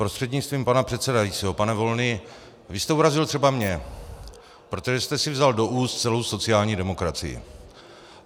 Prostřednictvím pana předsedajícího pane Volný, vy jste urazil třeba mě, protože jste si vzal do úst celou sociální demokracii.